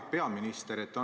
Hea peaminister!